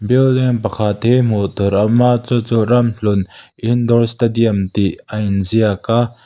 building pakhat hi hmuh tûr a awm a chu chu ramhlun indoor stadium tih a inziak a--